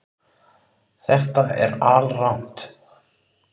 Þetta er alrangt